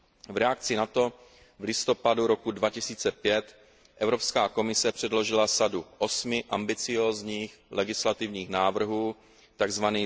V reakci na to v listopadu roku 2005 Evropská komise předložila sadu osmi ambiciózních legislativních návrhů, tzv.